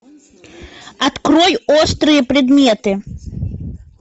открой острые предметы